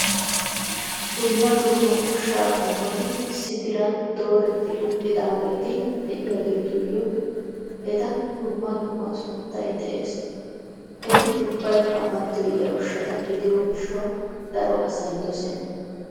Dumma dumma ushshaa qommoti issi diran dooretti uttidaageeti de'iyaatuyyo eta dumma dumma sunttay de'ees. Etu ubbaykka mattoyiya ushshata gidiyo gishshaw daro asay dossena.